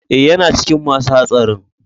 Eh, yana cikin ma su hatsarin.